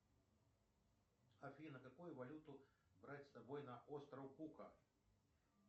афина какую валюту брать с собой на остров кука